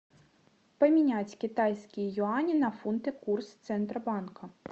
поменять китайские юани на фунты курс центробанка